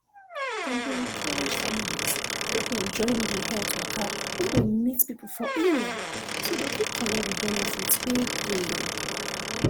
dem dey encourage families make dem join the health waka wey go meet people for area so dem fit collect the benefit wey dey